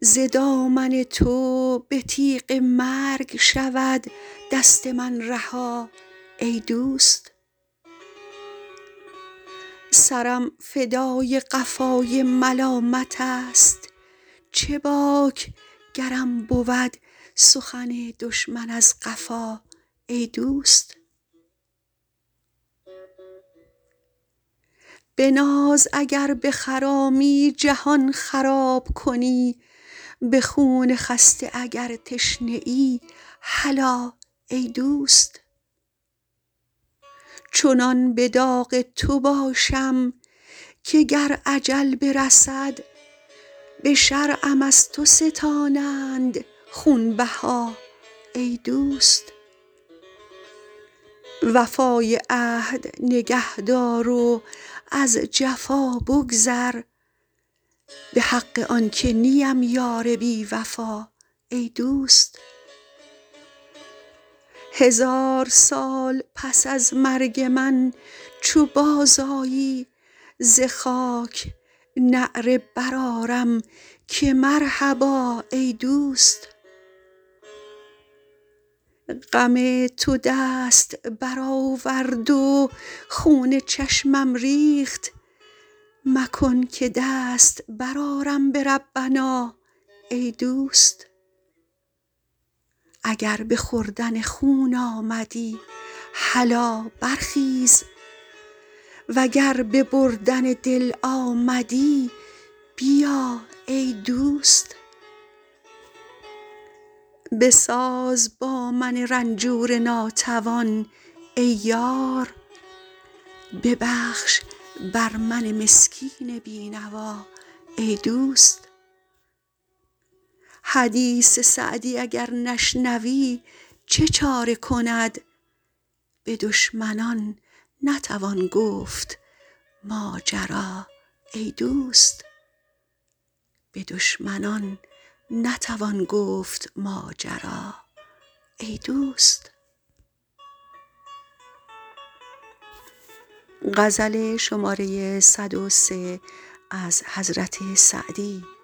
ز دامن تو به تیغ مرگ شود دست من رها ای دوست سرم فدای قفای ملامتست چه باک گرم بود سخن دشمن از قفا ای دوست به ناز اگر بخرامی جهان خراب کنی به خون خسته اگر تشنه ای هلا ای دوست چنان به داغ تو باشم که گر اجل برسد به شرعم از تو ستانند خونبها ای دوست وفای عهد نگه دار و از جفا بگذر به حق آن که نیم یار بی وفا ای دوست هزار سال پس از مرگ من چو بازآیی ز خاک نعره برآرم که مرحبا ای دوست غم تو دست برآورد و خون چشمم ریخت مکن که دست برآرم به ربنا ای دوست اگر به خوردن خون آمدی هلا برخیز و گر به بردن دل آمدی بیا ای دوست بساز با من رنجور ناتوان ای یار ببخش بر من مسکین بی نوا ای دوست حدیث سعدی اگر نشنوی چه چاره کند به دشمنان نتوان گفت ماجرا ای دوست